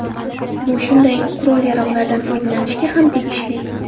Bu shunday qurol-yarog‘lardan foydalanishga ham tegishli”.